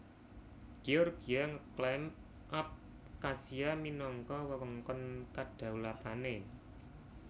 Georgia ngeklaim Abkhazia minangka wewengkon kadaulatané